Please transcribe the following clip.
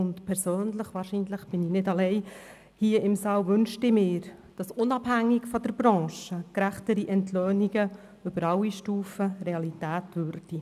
Ich persönlich wünschte mir – wahrscheinlich bin ich hier im Saal nicht allein damit –, dass gerechtere Entlöhnungen unabhängig von der Branche und über alle Stufen hinweg Realität würden.